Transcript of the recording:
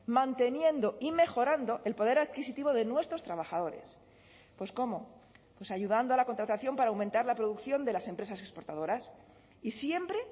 manteniendo y mejorando el poder adquisitivo de nuestros trabajadores pues cómo pues ayudando a la contratación para aumentar la producción de las empresas exportadoras y siempre